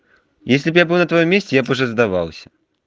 если бы я был на твоём месте я бы уже здавался